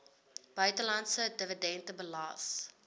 buitelandse dividende belas